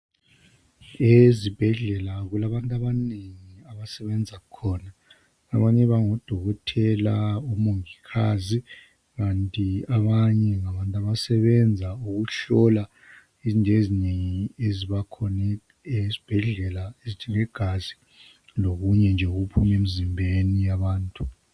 ezibhedlela kulabantu abanengi abasebenza khona abanye bango dokotela, omongikazi, kanti abanye ngabantu abasebenza ngokuhlola izinto ezinengi ezibakhona esibhedlela ngegazi lokunye nje okuphuma emzimbeni yabantu